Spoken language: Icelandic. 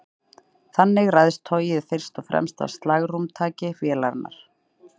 Þannig ræðst togið fyrst og fremst af slagrúmtaki vélarinnar.